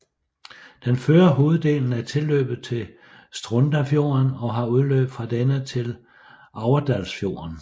Den fører hoveddelen af tilløbet til Strondafjorden og har udløb fra denne til Aurdalsfjorden